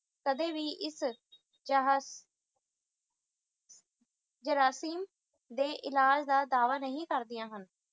ਕਦੇ ਵੀ ਇਸ ਦੇ ਇਲਾਜ ਦਾ ਦਾਅਵਾ ਨਹੀਂ ਕਰਦਿਆਂ ਹਨ